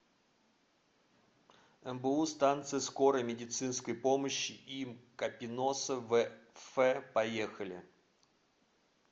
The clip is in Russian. мбу станция скорой медицинской помощи им капиноса вф поехали